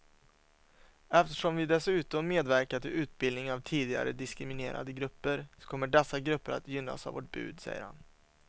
Eftersom vi dessutom medverkar till utbildning av tidigare diskriminerade grupper så kommer dessa grupper att gynnas av vårt bud, säger han.